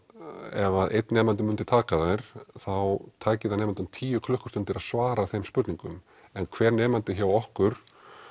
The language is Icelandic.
ef einn nemandi myndi taka þær þá tæki það nemandann tíu klukkustundir að svara þeim spurningum en hver nemandi hjá okkur